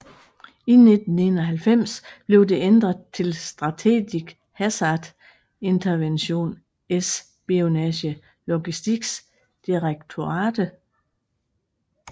I 1991 blev det ændret til Strategic Hazard Intervention Espionage Logistics Directorate